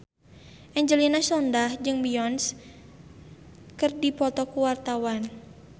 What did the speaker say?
Angelina Sondakh jeung Beyonce keur dipoto ku wartawan